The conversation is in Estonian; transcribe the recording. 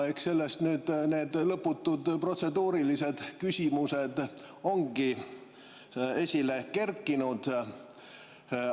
Eks sellest need lõputud protseduurilised küsimused ongi esile kerkinud.